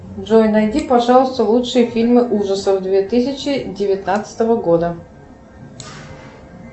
джой найди пожалуйста лучшие фильмы ужасов две тысячи девятнадцатого года